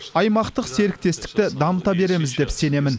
аймақтық серіктестікті дамыта береміз деп сенемін